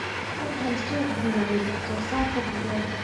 U hel suuq-dibadeed wax-soo-saarka digaagga.